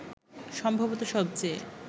সম্ভবত সবচেয়ে